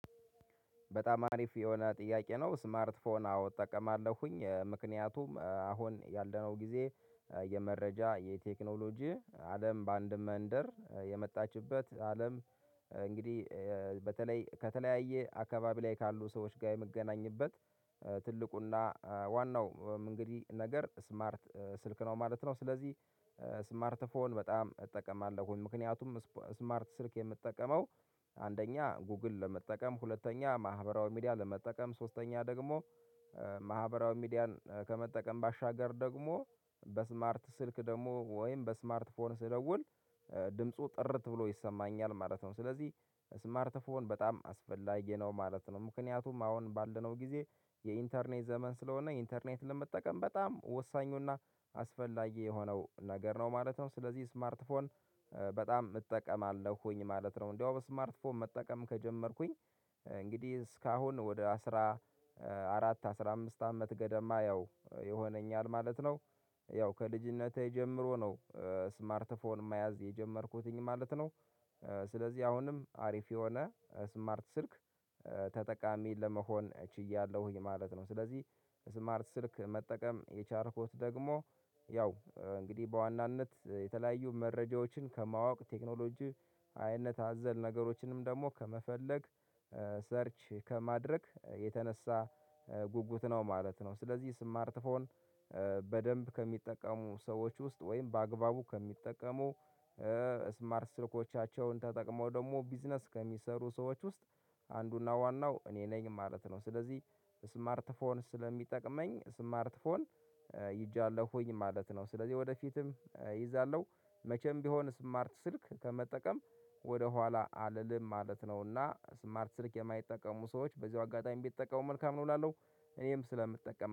በጣም አሪፍ የሆነ ጥያቄ ነው ስማርት ፎን አዎ እጠቀማለሁኝ ምክንያቱም አሁን ያለነው ጊዜ የመረጃ የቴክኖሎጂ አለም በአንድ መንደር የመጣችበት አለም እንግዲህ በተለይ ከተለያየ አካባቢ ላይ ካሉ ሰዎች ጋር የምገናኝበት ትልቁና ዋናው እንግዲህ ነገር ስማርት ስልክ ነው ማለት ነው። ስለዚህ ስማርት ፎን በጣም እጠቀማለሁኝ ምክንያቱም ስማርት ስልክ የምጠቀመው አንደኛ ጎግል ለመጠቀም ሁለተኛ ማህበራዊ ሚዲያ ለመጠቀም ሶስተኛ ደግሞ ማህበራዊ ሚዲያን ከመጠቀም ባሻገር ደግሞ በስማርት ስልክ ደግሞ ወይም በስማርት ፎን ስደውል ድምፁ ጥርት ብሎ ይሰማኛል ማለት ነው። ስለዚህ ስማርት ፎን በጣም አስፈላጊ ነው ማለት ነው። ምክንያቱም አሁን ባልነው ጊዜ የኢንተርኔት ዘመን ስለሆነ ኢንተርኔት ለመጠቀም በጣም ወሳኙና አስፈላጊ የሆነው ነገር ነው ማለት ነው። ስለዚህ ስማርት ፎን በጣም እጠቀማለሁኝ ማለት ነው። እንደውም ስማርትፎን መጠቀም ከጀመርኩኝ እንግዲህ እስካሁን ወደ አስራ አራት አስራ አምስት አመት ገደማ ያው ይሆነኛል ማለት ነው። ያው ከልጅነቴ ጀምሮ ነው። ስማርት ፎን መያዝ የጀመርኩትኝ ማለት ነው። ስለዚህ አሁንም አሪፍ የሆነ ስማርት ስልክ ተጠቃሚ ለመሆን ችያለሁኝ ማለት ነው። ስለዚህ ስማርት ስልክ መጠቀም የቻልኩት ደግሞ ያው እንግዲህ በዋናነት የተለያዩ መረጃዎችን ከማወቅ ቴክኖሎጂ አይነት አዘል ነገሮችንም ደግሞ ከመፈለግ ሰርች ከማድረግ የተነሳ ጉጉት ነው ማለት ነው። ስለዚህ ስማርት ፎን በደንብ ከሚጠቀሙ ሰዎች ውስጥ ወይም በአግባቡ ከሚጠቀሙ ስማርት ስልኮቻቸውን ተጠቅመው ደግሞ ቢዝነስ ከሚሰሩ ሰዎች ውስጥ አንዱና ዋናው እኔ ነኝ ማለት ነው። ስለዚህ ስማርት ፎን ስለሚጠቅመኝ ስማርት ፎን ይዣለሁኝ ማለት ነው። ስለዚህ ወደፊትም እይዛለሁ መቼም ቢሆን ስማርት ስልክ ከመጠቀም ወደ ኋላ አልልም ማለት ነው። እና ስማርት ስልክ የማይጠቀሙ ሰዎች በዚሁ አጋጣሚ የሚጠቀሙ መልካም ነው እላለሁ እኔም ስለምጠቀም